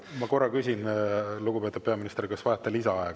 Ma korra küsin, lugupeetud peaminister, kas vajate lisaaega.